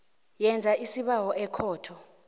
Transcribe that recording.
yenze isibawo ekhotho